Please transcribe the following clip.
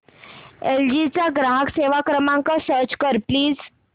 L G चा ग्राहक सेवा क्रमांक सर्च कर प्लीज